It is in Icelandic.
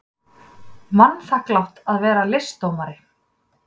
Vanþakklátt að vera listdómari.